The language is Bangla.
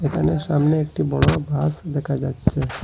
এখানে সামনে একটি বড় বাস দেকা যাচ্চে।